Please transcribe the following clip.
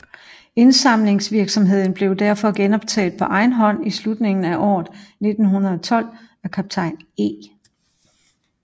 Indsamlingsvirksomheden blev derfor genoptaget på egen hånd i slutningen af året 1912 af kaptajn E